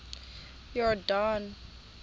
iyordane